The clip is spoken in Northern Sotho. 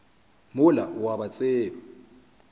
mola o a ba tseba